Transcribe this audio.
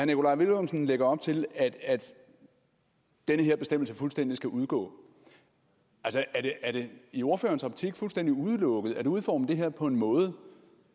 nikolaj villumsen lægger op til at den her bestemmelse fuldstændig skal udgå er det i ordførerens optik fuldstændig udelukket at udforme det her på en måde